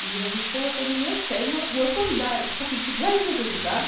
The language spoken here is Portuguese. E Jesus colocou nos meus pés uma uma sandália, igualzinha a que ele usava.